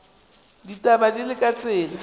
ditaba di le ka tsela